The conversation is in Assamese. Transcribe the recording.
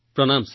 প্ৰণাম মহোদয়